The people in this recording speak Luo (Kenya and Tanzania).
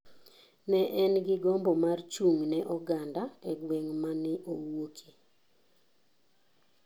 Ne en gi gombo mar chung' ne oganda e gweng mane owuoke.